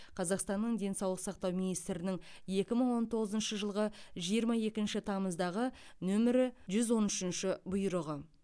қазақстанның денсаулық сақтау министрінің екі мың он тоғызыншы жылғы жиырма екінші тамыздағы нөмірі жүз он үшінші бұйрығы